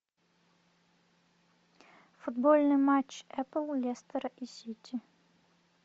футбольный матч апл лестер и сити